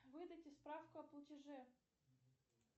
выдайте справку о платеже